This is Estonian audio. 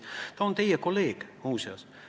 Ta on teie kolleeg, muuseas.